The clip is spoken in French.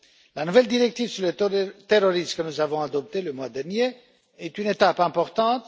La nouvelle directive sur le terrorisme, que nous avons adoptée le mois dernier, est une étape importante.